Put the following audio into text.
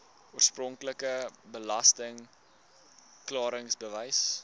oorspronklike belasting klaringsbewys